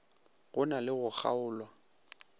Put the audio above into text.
go na le go kgaolwa